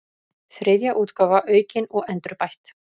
Þriðja útgáfa aukin og endurbætt.